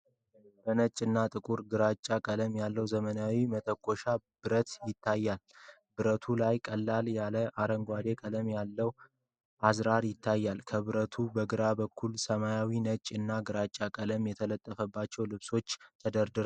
በነጭ እና ጥቁር ግራጫ ቀለም ያለው ዘመናዊ መተኮሻ ብረት ይታያል። ብረቱ ላይ ቀለል ያለ አረንጓዴ ቀለም ያለው አዝራር ይታያል። ከብረቱ በግራ በኩል በሰማያዊ፣ ነጭ እና ግራጫ ቀለም የተጣጠፉ ልብሶች ተደርድረዋል።